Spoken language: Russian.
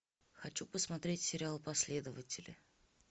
хочу посмотреть сериал последователи